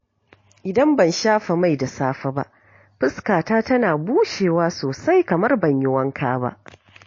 Idan ban shafa mai da safe ba, fuskata tana bushewa sosai kamar ban yi wanka ba.